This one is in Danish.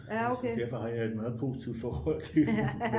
derfor har jeg et meget positivt forhold til den